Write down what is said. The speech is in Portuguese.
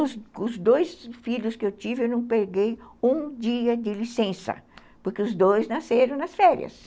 Os os dois filhos que eu tive, eu não peguei um dia de licença, porque os dois nasceram nas férias.